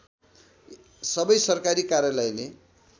सबै सरकारी कार्यालयले